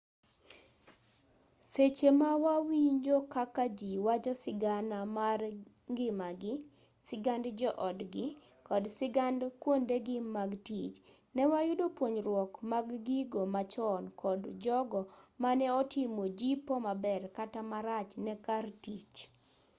seche ma wawinjo kaka ji wacho sigana mar ngimagi sigand jo-odgi kod sigand kuondegi mag tich ne wayudo puonjruok mag gigo machon kod jogo mane otimo jipo maber kata marach ne kar tich